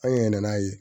An yɛlɛn n'a ye